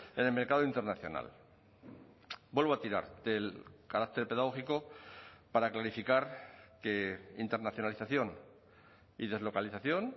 en el mercado internacional vuelvo a tirar del carácter pedagógico para clarificar que internacionalización y deslocalización